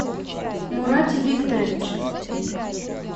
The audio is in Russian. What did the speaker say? мурате викторовиче